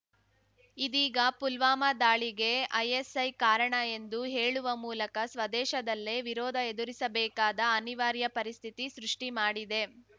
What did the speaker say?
ಇದೀಗ ಪುಲ್ವಾಮಾ ದಾಳಿಗೆ ಐಎಸ್‌ಐ ಕಾರಣ ಎಂದು ಹೇಳುವ ಮೂಲಕ ಸ್ವದೇಶದಲ್ಲೇ ವಿರೋಧ ಎದುರಿಸಬೇಕಾದ ಅನಿವಾರ್ಯ ಪರಿಸ್ಥಿತಿ ಸೃಷ್ಠಿ ಮಾಡಿದೆ